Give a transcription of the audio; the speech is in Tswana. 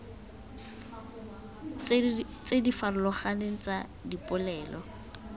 tse di farologaneng tsa dipolelo